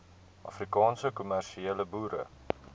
afrikaanse kommersiële boere